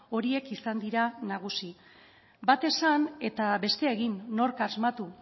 horiek izan dira nagusi bat esan eta bestea egin nork asmatu